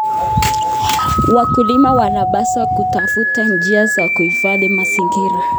Wakulima wanapaswa kutafuta njia za kuhifadhi mazingira.